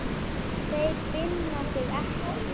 Þeir finna sig ekki.